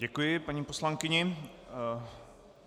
Děkuji paní poslankyni.